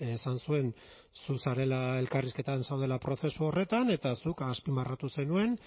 esan zuen zu zarela elkarrizketatan zaudela prozesu horretan eta zuk azpimarratu zenuen